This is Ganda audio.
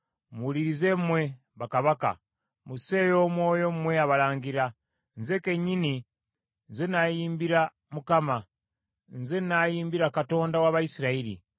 “Muwulirize mmwe bakabaka, musseeyo omwoyo mmwe abalangira; nze kennyini, nze nnaayimbira Mukama ; nze nnaayimbira Mukama Katonda wa Isirayiri.